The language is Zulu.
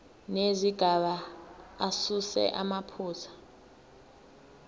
nezigaba asuse amaphutha